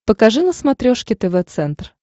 покажи на смотрешке тв центр